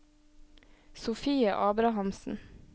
Sofie Abrahamsen